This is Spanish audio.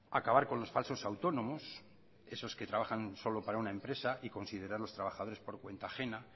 acabar con los falsos autónomos esos que trabajan solo para una empresa y considerarlos trabajadores por cuenta ajena